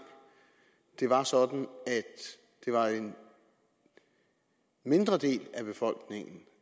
det var sådan at det var en mindre del af befolkningen